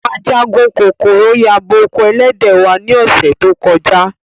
Ajagun kokoro yabo oko elede wa ni ose to koja.